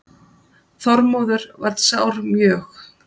Þormóður varð sár mjög.